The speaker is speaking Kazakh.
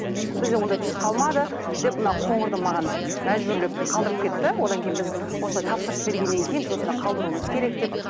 бізде ондай түс қалмады деп мына қоңырды маған мәжбүрлеп қалдырып кетті одан кейін біз осылай тапсырыс бергеннен кейін біз осында қалдыруымыз керек деп